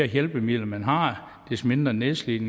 hjælpemidler man har des mindre nedslidt